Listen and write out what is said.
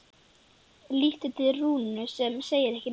Lítur til Rúnu sem segir ekki neitt.